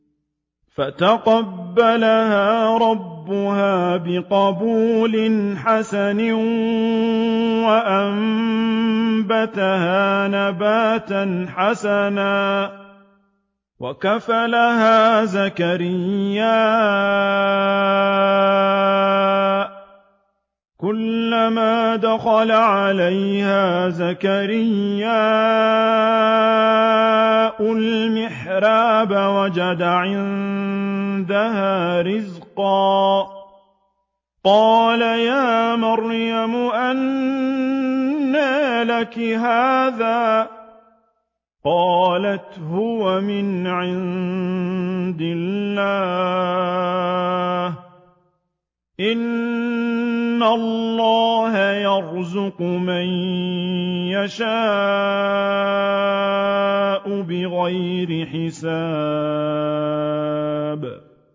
فَتَقَبَّلَهَا رَبُّهَا بِقَبُولٍ حَسَنٍ وَأَنبَتَهَا نَبَاتًا حَسَنًا وَكَفَّلَهَا زَكَرِيَّا ۖ كُلَّمَا دَخَلَ عَلَيْهَا زَكَرِيَّا الْمِحْرَابَ وَجَدَ عِندَهَا رِزْقًا ۖ قَالَ يَا مَرْيَمُ أَنَّىٰ لَكِ هَٰذَا ۖ قَالَتْ هُوَ مِنْ عِندِ اللَّهِ ۖ إِنَّ اللَّهَ يَرْزُقُ مَن يَشَاءُ بِغَيْرِ حِسَابٍ